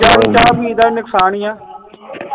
ਯਾਰ ਚਾ ਪੀ ਦਾ ਵੀ ਨੁਕਸਾਨ ਈ ਆ